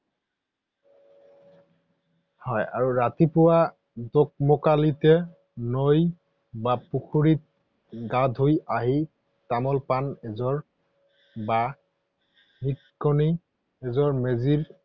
হয় আৰু ৰাতিপুৱা দুকমুকালিতে নৈ বা পুখুৰীত গা ধুই আহি তামোল পান এযোৰ বা এযোৰ মেজিৰ